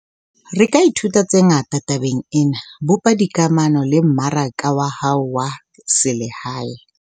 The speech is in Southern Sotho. Re ka ithuta tse ngata tabeng ena - bopa dikamano le mmaraka wa hao wa selehae.